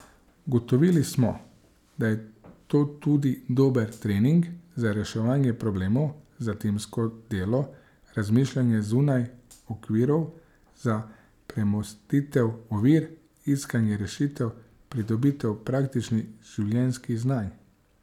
Ugotovili smo, da je to tudi dober trening za reševanje problemov, za timsko delo, razmišljanje zunaj okvirov, za premostitev ovir, iskanje rešitev, pridobitev praktičnih življenjskih znanj.